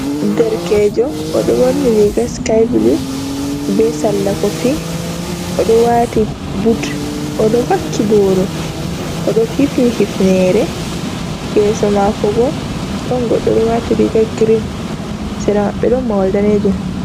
Ɗerkejo, odo ɓorni riga sikai bulu, ɓe salla kofi, odo wati but, odo vakki boro, odo hifni hifnere, yeso mako bo ɗon goɗɗo ɗo wati riga grin sera maɓɓe ɗon mahol. danejum.